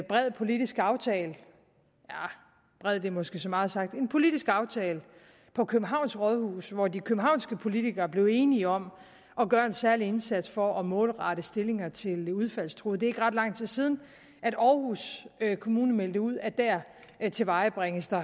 bred politisk aftale arh bred er måske så meget sagt men en politisk aftale på københavns rådhus hvor de københavnske politikere blev enige om at gøre en særlig indsats for at målrette stillinger til de udfaldstruede det ikke ret lang tid siden at aarhus kommune meldte ud at dér tilvejebringes der